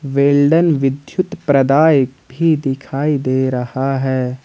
Well done विद्युत प्रदायक भी दिखाई दे रहा है।